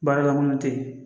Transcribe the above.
Baara la kɔnɔ te yen